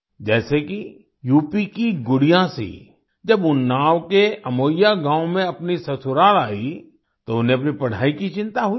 जैसे कि यूपी की गुड़िया सिंह जब उन्नाव के अमोइया गांव में अपनी ससुराल आई तो उन्हें अपनी पढाई की चिंता हुई